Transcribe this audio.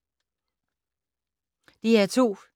DR2